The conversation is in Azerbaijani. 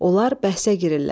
Onlar bəhsə girirlər.